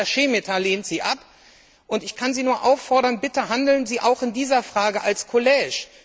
Gleichzeitig lehnt Herr Šemeta sie ab. Und ich kann Sie nur auffordern Bitte handeln Sie auch in dieser Frage als Kollegium.